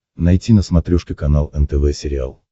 найти на смотрешке канал нтв сериал